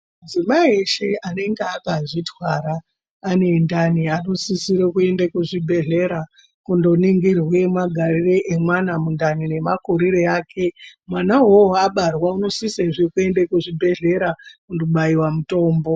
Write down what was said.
Madzimai eshe anenge akazvitwara, anendani anosisirwe kuende kuzvibhedlere kunoningirwe magariro emwana mundani, nemakuriro ake. Mwana uwowo abarwa unosise zvekuenda kuzvibhedlera kunobayiwa mutombo.